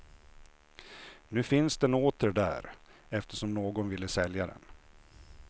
Nu finns den åter där, eftersom någon ville sälja den.